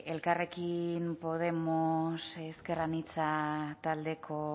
elkarrekin podemos ezker anitza taldeko